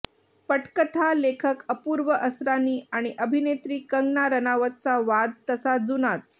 पटकथा लेखक अपूर्व असरानी आणि अभिनेत्री कंगना राणावतचा वाद तसा जुनाच